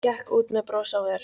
Gekk út með bros á vör.